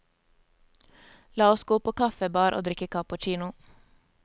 La oss gå på kaffebar og drikke cappuccino.